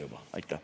Aitäh!